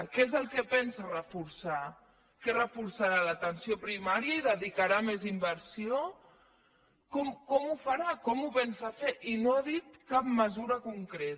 què és el que pensa reforçar què reforçarà l’atenció primària hi dedicarà més inversió com ho farà com ho pensa fer i no ha dit cap mesura concreta